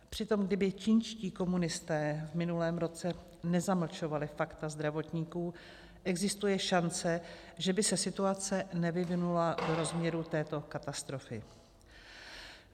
Přitom kdyby čínští komunisté v minulém roce nezamlčovali fakta zdravotníků, existuje šance, že by se situace nevyvinula do rozměru této katastrofy.